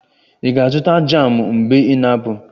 Ị ga-azụta jamụ mgbe ị na-apụ?